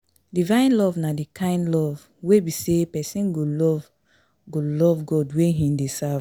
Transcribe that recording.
Divine Love na di kind love wey be say persin go love go love God wey im de serve